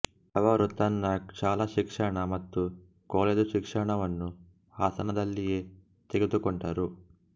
ಅವರು ತನ್ನ ಶಾಲಾ ಶಿಕ್ಷಣ ಮತ್ತು ಕಾಲೇಜು ಶಿಕ್ಷಣವನ್ನು ಹಾಸನದಲ್ಲಿಯೇ ತೆಗೆದುಕೊಂಡರು